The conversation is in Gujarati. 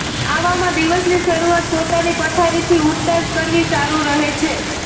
આવામાં દિવસની શરૂઆત પોતાની પથારીથી ઊઠતાં જ કરવી સારું રહે છે